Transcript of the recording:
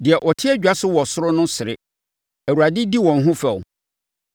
Deɛ ɔte adwa so wɔ soro no sere; Awurade di wɔn ho fɛw.